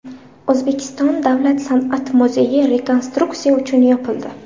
O‘zbekiston davlat san’at muzeyi rekonstruksiya uchun yopildi.